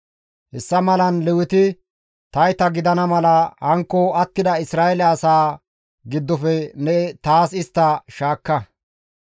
Hessa malan Leweti tayta gidana mala hankko attida Isra7eele asaa giddofe ne taas istta shaakka.